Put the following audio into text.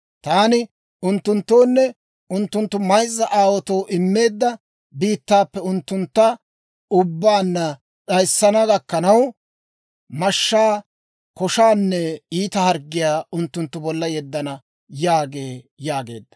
Taani unttunttoonne unttunttu mayzza aawaatoo immeedda biittaappe unttunttu ubbaanna d'ayana gakkanaw, mashshaa, koshaanne iita harggiyaa unttunttu bolla yeddana› yaagee» yaageedda.